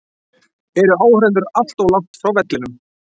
Eru áhorfendur allt of langt frá vellinum?